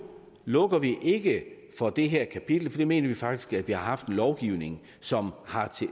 lukker vi ikke for det her kapitel for vi mener faktisk at vi har haft en lovgivning som har